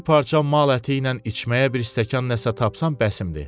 Bir parça mal əti ilə içməyə bir stəkan nəsə tapsam bəsimdir.